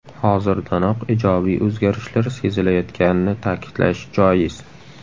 Hozirdanoq ijobiy o‘zgarishlar sezilayotganini ta’kidlash joiz.